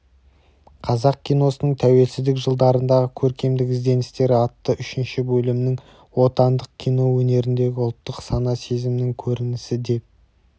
қазақ киносының тәуелсіздік жылдарындағы көркемдік ізденістері атты үшінші бөлімнің отандық кино өнеріндегі ұлттық сана-сезімінің көрінісі деп